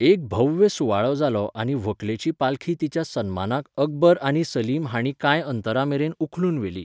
एक भव्य सुवाळो जालो आनी व्हंकलेची पालखी तिच्या सन्मानाक अकबर आनी सलीम हाणीं कांय अंतरामेरेन उखलून व्हेली.